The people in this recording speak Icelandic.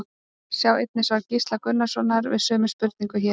Sjá einnig svar Gísla Gunnarssonar við sömu spurningu, hér.